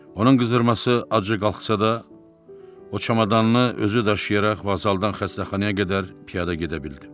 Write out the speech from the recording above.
Onun qızdırması acı qalxsa da, o çamadanını özü daşıyaraq və vazaldan xəstəxanaya qədər piyada gedə bildi.